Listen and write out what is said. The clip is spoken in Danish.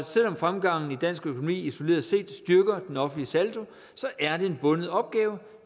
selv om fremgangen i dansk økonomi isoleret set styrker den offentlige saldo er det en bunden opgave